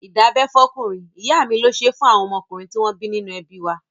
Ìdábẹ́ fọ́kùnrin, ìyá mi ló ṣé fún àwọn ọmọkùnrin tí wọ́n bí nínú ẹbí wa.